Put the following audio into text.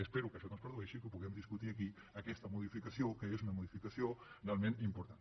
espero que això no es produeixi i que ho puguem discutir aquí aquesta modificació que és una modificació realment important